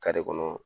kɔnɔ